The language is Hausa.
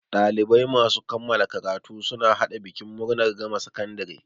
Ɗalibai masu kammala karatu suna haɗa bikin murnar gama sakandare.